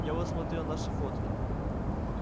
я вот смотрел наши фотки